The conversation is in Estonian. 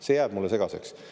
See jääb mulle segaseks.